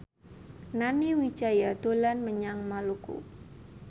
Nani Wijaya dolan menyang Maluku